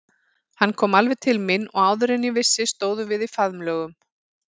Hann kom alveg til mín og áður en ég vissi stóðum við í faðmlögum.